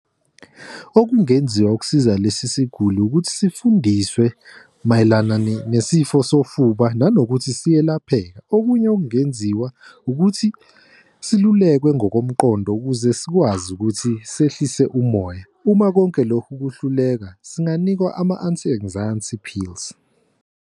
Okungenziwa ukusiza lesi siguli ukuthi sifundiswe mayelana nesifo sofuba, nanokuthi siyelapheka. Okunye okungenziwa ukuthi silulekwe ngokomqondo ukuze sikwazi ukuthi sehlise umoya. Uma konke lokhu kuhluleka, singanikezwa ama-anti anxiety pills.